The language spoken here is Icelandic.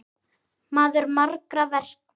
Maður margra verka.